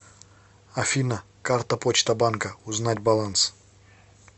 афина карта почта банка узнать баланс